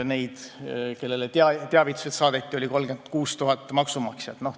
Neid, kellele teavitused saadeti, oli 36 000 maksumaksjat.